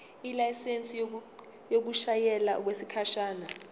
ilayisensi yokushayela okwesikhashana